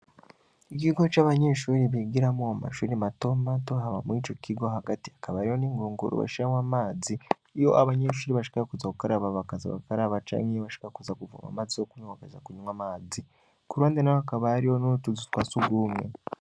Igigo c'abanyeshuri bigiramo mamashuri matoma to haba muri ico kigo hagati akabariyo n'inkunkuru bashamwa amazi iyo abanyeshuri bashaka kuza kukaraba bakaza abakaraba canke iyo bashaka kuza guvama mazi zo kunyokeza kunywa amazi kurwande na wo akabariyo n'urutuzu twa si ugumwe.